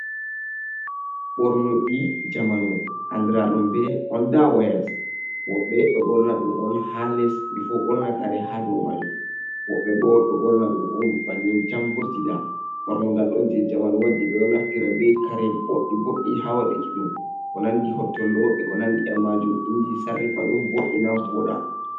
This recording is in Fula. Ɓornuɗi jamanu, andra dum be onda wayas. Woɓɓe ɗo ɓorna ɗum on ha les bi fu borna kare ha dau majum. Woɓbe bo ɗo ɓorna ɗum on banni tan vurtida. Ɓornugal ɗon je jamanu wodi ɓe ɗo naftira be kare boɗɗi boɗɗi ha waɗuki ɗum. Ko nandi hotollo e ko nandi be majum inji ɗo sarrifa ɗum vo'ina voɗa.